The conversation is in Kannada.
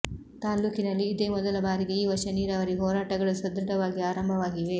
ತಾಲ್ಲೂಕಿನಲ್ಲಿ ಇದೇ ಮೊದಲ ಬಾರಿಗೆ ಈ ವರ್ಷ ನೀರಾವರಿ ಹೋರಾಟಗಳು ಸದೃಢವಾಗಿ ಆರಂಭವಾಗಿವೆ